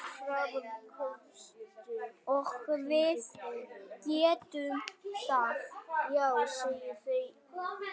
Og við getum það.